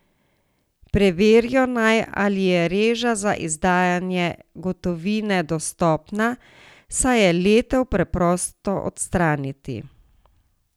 Preverijo naj, ali je reža za izdajanje gotovine dostopna, saj je letev preprosto odstraniti.